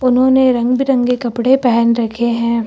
उन्होंने रंग बिरंगे कपड़े पहन रखे हैं।